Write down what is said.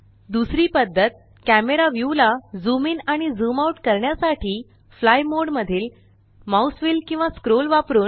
दुसरी पद्धत camera view ला झूम इन आणि झूम आउट करण्यासाठी फ्लाय मोड मधील माउस व्हील किंवा स्क्रोल वापरुन